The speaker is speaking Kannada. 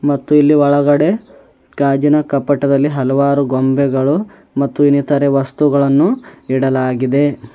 ಮತ್ತೆ ಇಲ್ಲಿ ಒಳಗಡೆ ಗಾಜಿನ ಕಪಟದಲ್ಲಿ ಹಲವಾರು ಗೊಂಬೆಗಳು ಮತ್ತೆ ಇನ್ನಿತರೆ ವಸ್ತುಗಳನ್ನು ಇಡಲಾಗಿದೆ.